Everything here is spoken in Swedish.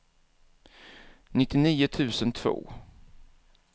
nittionio tusen två